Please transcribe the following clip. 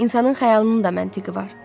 İnsanın xəyalının da məntiqi var.